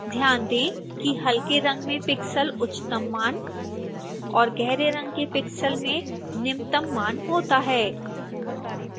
ध्यान दें कि हल्के रंग में pixel उच्चतम मान और गहरे रंग के pixel में निम्नतम मान होता है